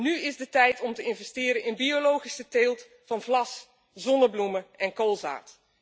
Nu is de tijd om te investeren in biologische teelt van vlas, zonnebloemen en koolzaad.